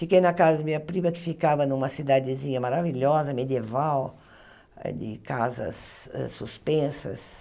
Fiquei na casa de minha prima, que ficava numa cidadezinha maravilhosa, medieval, eh de casas uh suspensas.